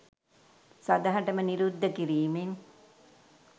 සදහටම නිරුද්ධ කිරීමෙන්